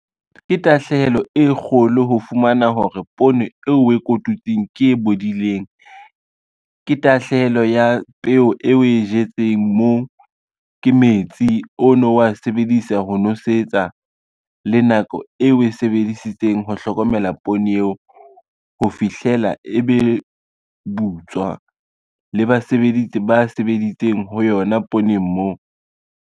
Ke tahlehelo e kgolo ho fumana hore poone eo o e kotutsing ke e bodileng. Ke tahlehelo ya peo e o e jetseng moo, ke metsi o no wa sebedisa ho nosetsa le nako eo o e sebedisitseng ho hlokomela poone eo, ho fihlela e be butswa le basebeditsi ba sebeditseng ho yona pooneng moo.